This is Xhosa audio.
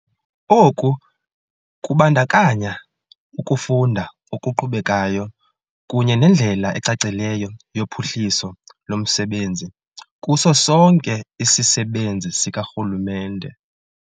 Oku kubandakanya ukufunda okuqhubekayo kunye nendlela ecacileyo yophuhliso lomsebenzi kuso sonke isisebenzi sikarhulumente.